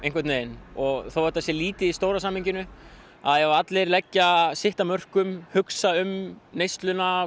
og þótt þetta sé lítið í stóra samhenginu að ef allir leggja sitt af mörkum hugsa um neysluna